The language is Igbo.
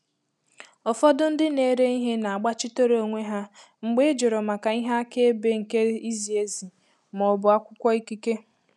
Ụfọdụ ndị na-ere ihe na-agbachitere onwe ha mgbe ị jụrụ maka ihe akaebe nke izi ezi ma ọ bụ akwụkwọ ikike.